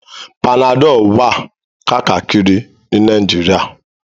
Panadol jẹ abvailable ni Nigeria